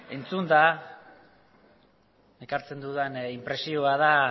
entzunda ekartzen dudan inpresioa da